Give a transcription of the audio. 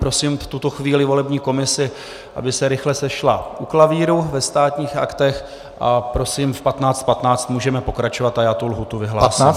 Prosím v tuto chvíli volební komisi, aby se rychle sešla u klavíru ve Státních aktech, a prosím, v 15.15 můžeme pokračovat a já tu lhůtu vyhlásím.